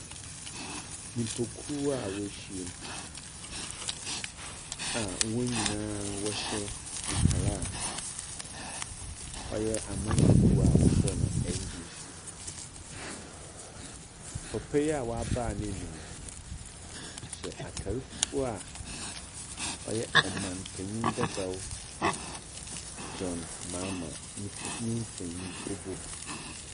Nipakuo a w'ɔhyiam a wɔn nyinaa w'ɔhyɛ ntar a ɔyɛ amanyɔkuo a wɔfrɛ no NDC. Papa yi a w'abaw ne nom yi, ɔhyɛ atar fufuw a ɔyɛ ɔmampanyin dedaw Jɔhn Mahama ne nfoni obom.